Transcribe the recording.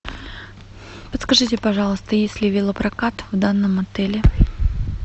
подскажите пожалуйста есть ли велопрокат в данном отеле